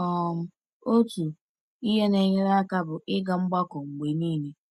Otu ihe na-enyere aka bụ ịga mgbakọ mgbe niile.